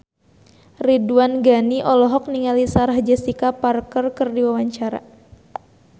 Ridwan Ghani olohok ningali Sarah Jessica Parker keur diwawancara